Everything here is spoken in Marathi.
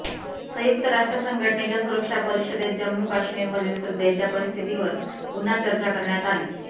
संयुक्त राष्ट्र संघटनेच्या सुरक्षा परिषदेत जम्मू काश्मीरमधील सध्याच्या परिस्थितीवर पुन्हा चर्चा करण्यात आली